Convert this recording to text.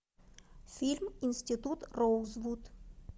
фильм институт роузвуд